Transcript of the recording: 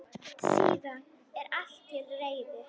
Síðan er allt til reiðu.